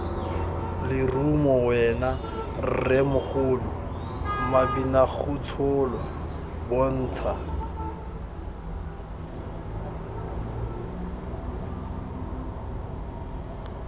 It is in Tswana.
lerumo wena rremogolo mabinagotsholwa bontsha